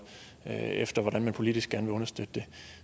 efter hvordan man politisk gerne vil understøtte det